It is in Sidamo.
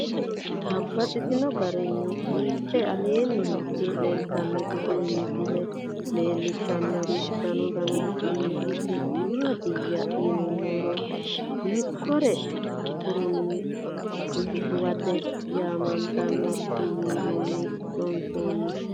Babaxxittinno garinni biiffe aleenni hige leelittannotti tinni misile lelishshanori danu danunkunni isi maattiya yinummoha ikkiro kurinno shukuwatte yaamanttanno. Siwiilluni loonsoonni